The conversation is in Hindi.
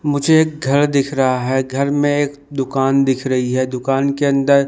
मुझे घर दिख रहा है घर में एक दुकान दिख रही है दुकान के अंदर--